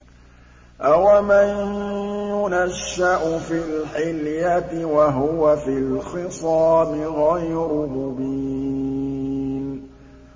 أَوَمَن يُنَشَّأُ فِي الْحِلْيَةِ وَهُوَ فِي الْخِصَامِ غَيْرُ مُبِينٍ